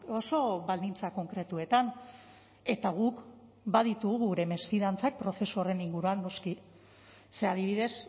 oso baldintza konkretuetan eta guk baditugu gure mesfidantzak prozesu horren inguruan noski ze adibidez